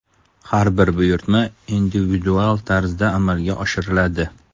Har bir buyurtma individual tarzda amalga oshiriladi.